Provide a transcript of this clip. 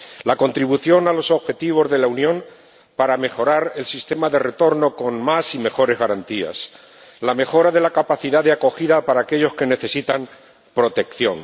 la contribución a los objetivos de la Unión para mejorar el sistema de retorno con más y mejores garantías la mejora de la capacidad de acogida para aquellos que necesitan protección